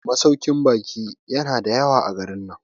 masaukin baki yana da yawa a garin nan